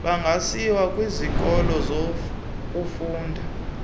bangasiwa kwisikoko sokufunda